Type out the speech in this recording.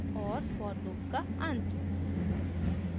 और for loop का अंत